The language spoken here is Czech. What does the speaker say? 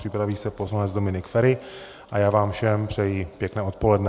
Připraví se poslanec Dominik Feri a já vám všem přeji pěkné odpoledne.